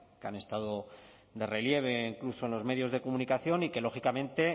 que han estado de relieve incluso en los medios de comunicación y que lógicamente